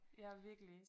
Ja virkelig